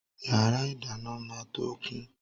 Yàrá ìdáná máa tó kún.